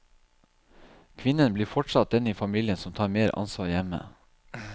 Kvinnen blir fortsatt den i familien som tar mer ansvar hjemme.